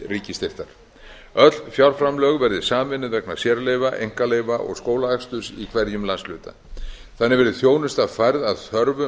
ríkisstyrktar öll fjárframlög verði sameinuð vegna sérleyfa einkaleyfa og skólaaksturs í hverjum landshluta þannig verði þjónusta færð að þörfum